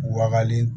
Wagalen